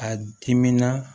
A diminan